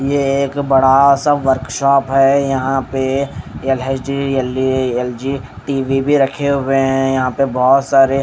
यह एक बड़ा सा वर्कशॉप है यहाँ पे टी_ वी_ भी रखे हुए हैं यहाँ पे बहुत सारे।